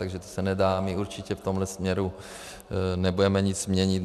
Takže to se nedá, my určitě v tomhle směru nebudeme nic měnit.